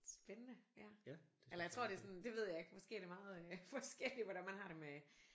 Spændende ja. Eller jeg tror det er sådan det ved jeg ikke måske er det meget forskelligt hvordan man har det med